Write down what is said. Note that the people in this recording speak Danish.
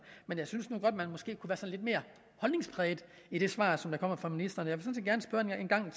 men jeg synes nu godt man måske kunne lidt mere holdningspræget i det svar som kommer fra ministeren jeg